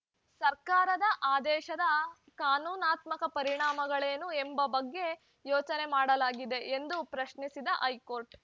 ಸರ್ಕಾರದ ಆದೇಶದ ಕಾನೂನಾತ್ಮಕ ಪರಿಣಾಮಗಳೇನು ಎಂಬ ಬಗ್ಗೆ ಯೋಚನೆ ಮಾಡಲಾಗಿದೆಯೇ ಎಂದು ಪ್ರಶ್ನಿಸಿದ್ದ ಹೈಕೋರ್ಟ್‌